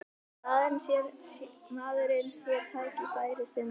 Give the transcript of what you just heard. Maðurinn sé tækifærissinni